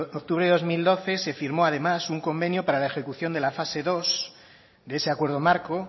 octubre de dos mil doce se firmó además un convenio para la ejecución de la fase dos de ese acuerdo marco